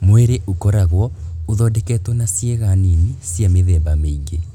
Mwĩrĩ ũkoragwo ũthondeketwo na ciĩga nini cia mĩthemba mĩingĩ